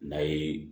N'a ye